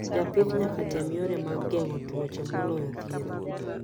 Japith nyaka tem yore mag ngengo twoche moloya thiedho.